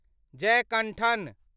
Jayakanthan